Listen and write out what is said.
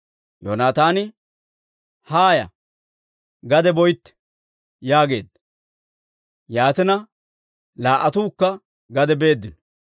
Yoonataani, «Haaya; gade boytte» yaageedda; yaatina, laa"attuukka gade beeddino.